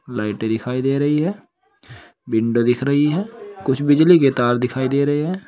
लाइटें दिखाई दे रही हैं। विंडो दिख रही है कुछ बिजली के तार दिखाई दे रहे हैं।